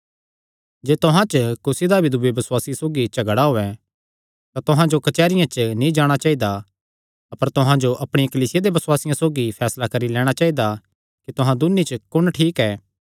जे तुहां च कुसी दा भी दूये बसुआसिये सौगी झगड़ा होयैं तां तुहां जो कचेहरिया च नीं जाणा चाइदा अपर तुहां जो अपणिया कलीसिया दे बसुआसियां सौगी फैसला करी लैणां चाइदा कि तुहां दून्नी च कुण ठीक ऐ